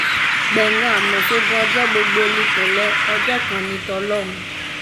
gbẹ̀ngàn àmos ogun ọjọ́ gbogbo ní tò̩lé̩ ọjọ́ kan ní tò̩ló̩hún